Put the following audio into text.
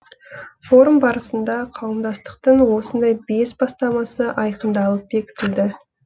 форум барысында қауымдастықтың осындай бес бастамасы айқындалып бекітілді